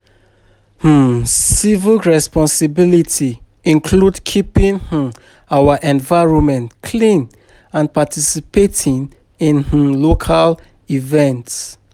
um Civic responsibility include keeping um our environment clean and participating in um local events.